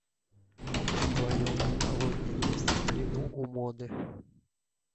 в твоем каталоге есть в плену у моды